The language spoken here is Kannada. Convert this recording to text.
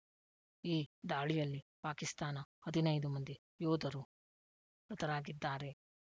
ಈ ದಾಳಿಯಲ್ಲಿ ಪಾಕಿಸ್ತಾನ ಹದಿನೈದು ಮಂದಿ ಯೋಧರು ಮೃತರಾಗಿದ್ದಾರೆ